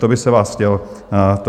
To bych se vás chtěl zeptat.